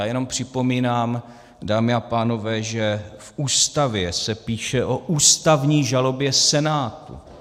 Já jenom připomínám, dámy a pánové, že v Ústavě se píše o ústavní žalobě Senátu.